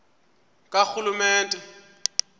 karhulumente